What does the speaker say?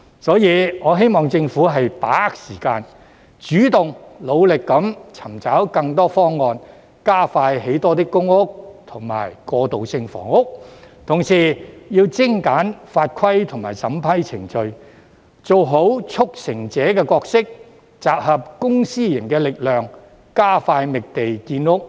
因此，我希望政府把握時間，主動努力尋找更多方案，加快興建更多公屋和過渡性房屋，同時要精簡法規及審批程序，做好"促成者"的角色，集合公私營的力量，加快覓地建屋。